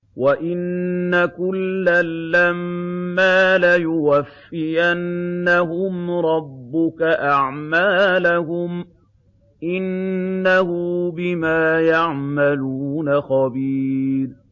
وَإِنَّ كُلًّا لَّمَّا لَيُوَفِّيَنَّهُمْ رَبُّكَ أَعْمَالَهُمْ ۚ إِنَّهُ بِمَا يَعْمَلُونَ خَبِيرٌ